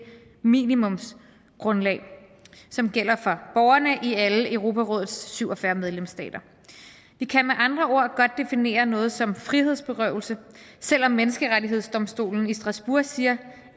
minimumsgrundlag som gælder for borgerne i alle europarådets syv og fyrre medlemsstater vi kan med andre ord godt definere noget som frihedsberøvelse selv om menneskerettighedsdomstolen i strasbourg siger